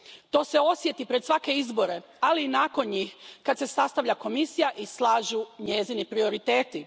To se osjeti pred svake izbore, ali i nakon njih, kada se sastavlja Komisija i slažu njezini prioriteti.